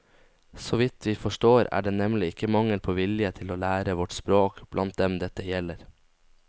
Så vidt vi forstår, er det nemlig ikke mangel på vilje til å lære vårt språk blant dem dette gjelder.